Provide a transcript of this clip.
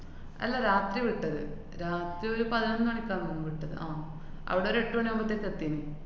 അല്ല രാത്രി വിട്ടത്. രാത്രി ഒരു പതിനൊന്ന് മണിക്കാന്ന് തോന്ന് വിട്ടത്. ആഹ് അവിടൊരു എട്ട് മണിയാവുമ്പത്തേക്കും എത്തീന്.